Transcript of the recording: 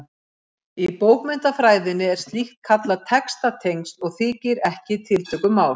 Í bókmenntafræðinni er slíkt kallað textatengsl og þykir ekki tiltökumál.